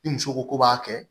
Ni muso ko ko b'a kɛ